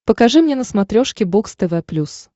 покажи мне на смотрешке бокс тв плюс